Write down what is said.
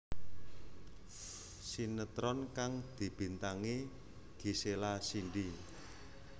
Sinetron kang dibintangi Gisela Cindy